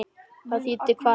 Það þýddi kvalir.